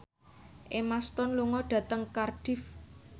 Emma Stone lunga dhateng Cardiff